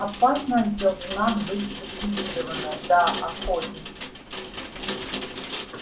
опасность должна быть ликвидирована да охотник